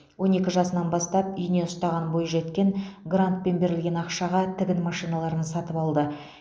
он екі жасынан бастап ине ұстаған бойжеткен грантпен берілген ақшаға тігін машиналарын сатып алды